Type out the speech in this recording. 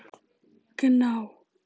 Gná